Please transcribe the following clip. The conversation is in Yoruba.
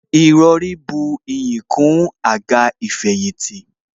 Ìrọrí buyì kún àga ìfẹ̀yìntì